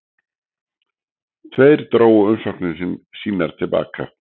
Tveir drógu umsóknir sínar til baka